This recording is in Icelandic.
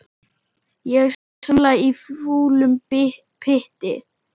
Ég svamla í fúlum pytti.